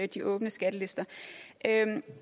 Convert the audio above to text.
de åbne skattelister